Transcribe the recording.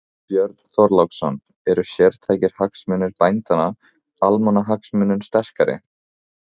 Björn Þorláksson: Eru sértækir hagsmunir bændanna, almannahagsmunum sterkari?